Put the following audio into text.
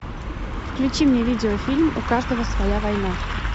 включи мне видеофильм у каждого своя война